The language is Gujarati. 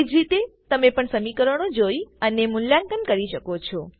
એ જ રીતે તમે પણ સમીકરણો જોઈ અને મૂલ્યાંકન કરી શકો છો